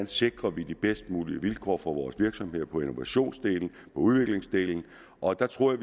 sikrer de bedst mulige vilkår for vores virksomheder på innovationsdelen udviklingsdelen og der tror jeg